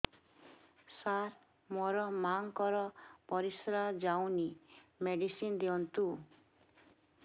ସାର ମୋର ମାଆଙ୍କର ପରିସ୍ରା ଯାଉନି ମେଡିସିନ ଦିଅନ୍ତୁ